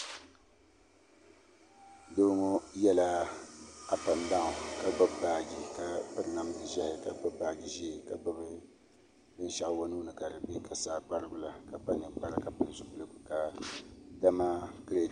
Doo ŋo yɛla ap ɛnd daawn ka gbubi baaji ka piri namdi ʒiɛhi ka gbubi baaji ʒiɛ ka gbubi binshaɣu o nuuni ka di bɛ ka saa kparigu la ka kpa ninkpara ka pili zipiligu ka di ma